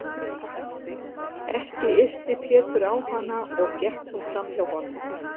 Ekki yrti Pétur á hana og gekk hún fram hjá honum.